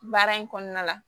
Baara in kɔnɔna la